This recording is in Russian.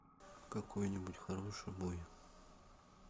какой нибудь хороший бой